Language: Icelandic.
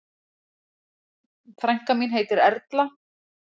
Frænka mín heitir Erla.